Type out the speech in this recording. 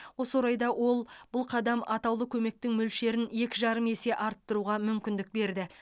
осы орайда ол бұл қадам атаулы көмектің мөлшерін екі жарым есе арттыруға мүмкіндік берді